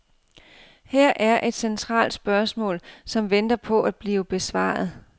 Her er et centralt spørgsmål, som venter på at blive besvaret.